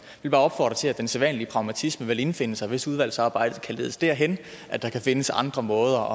vil bare opfordre til at den sædvanlige pragmatisme vil indfinde sig hvis udvalgsarbejdet kan ledes derhen at der kan findes andre måder